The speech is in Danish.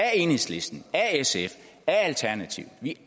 enhedslisten af sf af alternativet vi